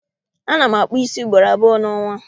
Ana m akpụ ísí ugboro abụọ n'ọnwa